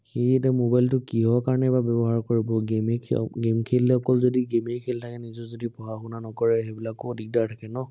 সি এতিয়া mobile টো কিহৰ কাৰনে বা ব্য়ৱহাৰ কৰিব, game যেই খেলি, আহ game খেলিলে অকল যদি game য়েই খেলি থাকে, নিজৰ যদি পঢ়া-শুনা নকৰে, সেইবিলাকো দিগদাৰ থাকে ন